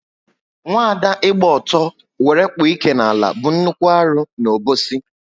Nwaada ịgba ọtọ wéré kpụ ike n'ala bu nnukwu arụ n' Obosi